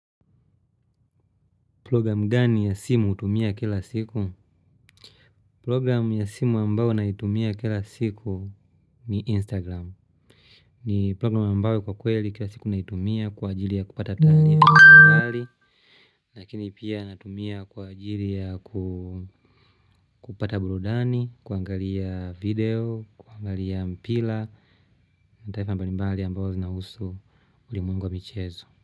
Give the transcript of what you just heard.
Program gani ya simu hutumia kila siku? Program ya simu ambayo naitumia kila siku ni Instagram. Ni program ambayo kwa kweli kila siku naitumia kwa ajili ya kupata taarifa ya habari. Lakini pia natumia kwa ajili ya kupata burudani, kuangalia video, kuangalia mpira. Na taarifa mbalimbali ambayo zinahusu ulimwengu wa michezo.